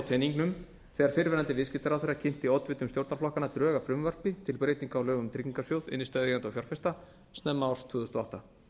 teningnum þegar fyrrverandi viðskiptaráðherra kynnti oddvitum stjórnarflokkanna drög að frumvarpi til breytinga á lögum um tryggingarsjóð innstæðueigenda og fjárfesta snemma árs tvö þúsund og átta